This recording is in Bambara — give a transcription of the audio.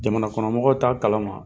Jamanakɔnɔmɔgɔw t'a kalama.